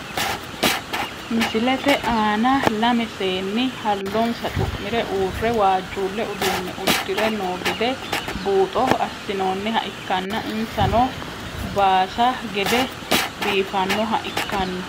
Misilete aana lame seeni halonssa cumire uure waajulle uduune udire noo gede buuxo asinooniha ikkana insano baasa gede biifanoha ikano.